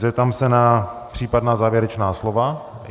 Zeptám se na případná závěrečná slova.